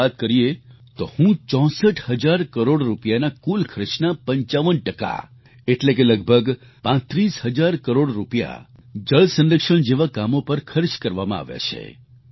201718ની વાત કરીએ તો હું 64 હજાર કરોડ રૂપિયાના કુલ ખર્ચના 55 ટકા એટલે કે લગભગ 35 હજાર કરોડ રૂપિયા જળ સંરક્ષણ જેવા કામો પર ખર્ચ કરવામાં આવ્યા છે